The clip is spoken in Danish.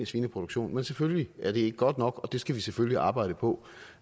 svineproduktion men selvfølgelig er det ikke godt nok og det skal vi selvfølgelig arbejde på